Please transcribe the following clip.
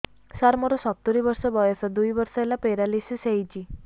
ସାର ମୋର ସତୂରୀ ବର୍ଷ ବୟସ ଦୁଇ ବର୍ଷ ହେଲା ପେରାଲିଶିଶ ହେଇଚି